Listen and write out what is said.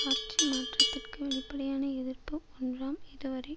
ஆட்சி மாற்றத்திற்கு வெளிப்படையான எதிர்ப்பு ஒன்றாம் இதுவரை